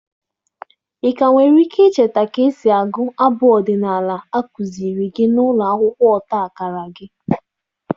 Ị ka nwere ike icheta ka esi agụ abụ ọdịnala a kụziiri gị na ụlọ akwụkwọ ọta akara gị?